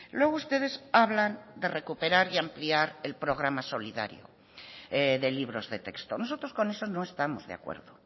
luego ustedes hablan de recuperar y ampliar el programa solidario de libros de texto nosotros con eso no estamos de acuerdo